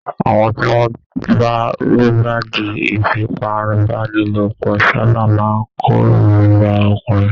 Àwọn tí wọ́n bá lùgbàdì ìfipábánilòpọ̀ sáábà máa kórìíra ọkùnrin